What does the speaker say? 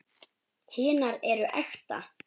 Hinar eru ekta.